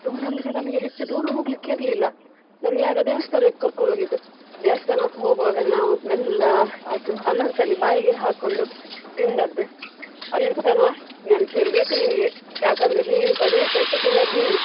Tour ಅಂದ್ರೆ ನಮ್ಗೆ ಹೆಚ್ಚು ದೂರ ಹೋಗಲಿಕ್ಕೆ ಇರ್ಲಿಲ್ಲ. ನಮ್ಗೆ ಆಗಾ ದೇವಸ್ಥಾನಕ್ಕೆ ಕರ್ಕೊಂಡು ಹೋಗಿದ್ದು. ದೇವಸ್ಥಾನಕ್ಕೆ ಹೋಗ್ವಾಗ ನಾವು ಮೆಲ್ಲ ಅದು ಅನಾರ್ಕಲಿ ಬಾಯಿಗೆ ಹಾಕೊಂಡು ತಿಂದದ್ದು. ಅಲ್ಲಿತನ ನೆನ್ಪಿರ್ಬೇಕು ನಿನ್ಗೆ ಯಾಕಂದ್ರೆ ನೀನು ಸರಿ ಪೆಟ್ಟು ತಿಂದದ್ದು ನೀನೆ.